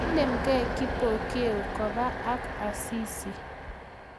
Kiinem kei Kipokeo Koba ak Asisi